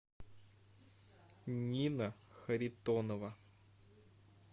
нина харитонова